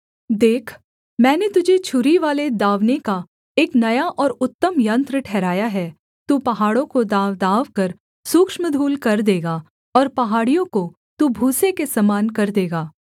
देख मैंने तुझे छुरीवाले दाँवने का एक नया और उत्तम यन्त्र ठहराया है तू पहाड़ों को दाँवदाँवकर सूक्ष्म धूल कर देगा और पहाड़ियों को तू भूसे के समान कर देगा